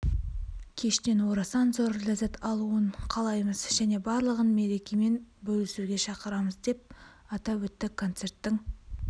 кештен орасан зор ләззат алуын қалаймыз және барлығын мерекемен бөлісуге шақырамыз деп атап өтті концерттің